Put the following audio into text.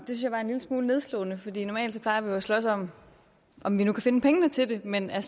var en lille smule nedslående fordi normalt plejer vi at slås om om vi nu kan finde pengene til det men er